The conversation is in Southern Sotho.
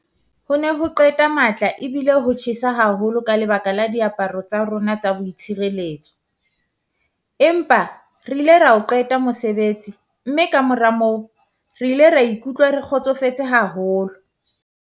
"Ho ne ho qeta matla ebile ho tjhesa haholo ka lebaka la diaparo tsa rona tsa boitshireletso, empa re ile ra o qeta mosebetsi mme kamora moo re ile ra ikutlwa re kgotsofetse haholo."